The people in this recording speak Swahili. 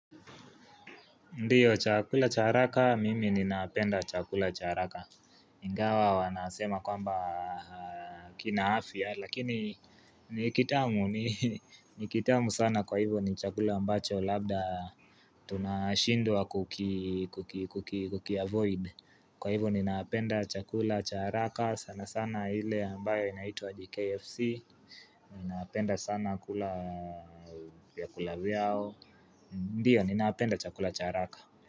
Ndio chakula cha araka mimi ninapenda chakula cha araka Ingawa wanasema kwamba kina afya lakini ni kitamu ni kitamu sana kwa hivyo ni chakula ambacho labda tunashindwa kukiavoid Kwa hivyo ninaapenda chakula cha haraka sana sana hile ambayo inaitwa aje kfc ninaapenda sana kula vyakula vyao Ndiyo ninaapenda chakula chaaraka.